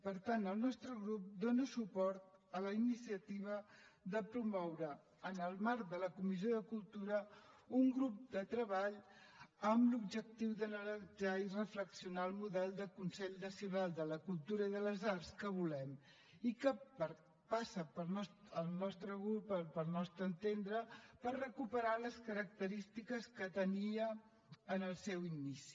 per tant el nostre grup dóna suport a la iniciativa de promoure en el marc de la comissió de cultura un grup de treball amb l’objectiu d’analitzar i reflexionar el model de consell nacional de la cultura i de les arts que volem i que passa al nostre entendre per recuperar les característiques que tenia en el seu inici